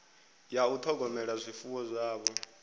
ya u ṱhogomela zwifuwo zwavho